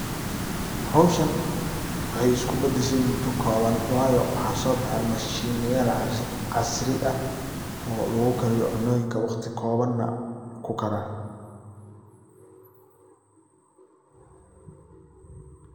Howshan waxey isku bedeshe mudo koban. Wayoo waxa so bahen mashin yaal casri ah oo lagu kariyo cunoyinka waqti kobana kukara.